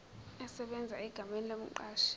esebenza egameni lomqashi